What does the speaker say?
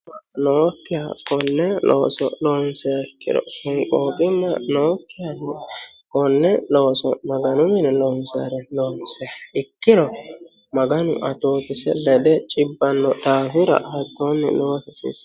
nookkiha konne looso loonsiha ikkiro honqooqqimma nookkiha konne looso loonsoha ikkiro maganu atootesi lede cibba daafira hattoonni loosa haasiissanno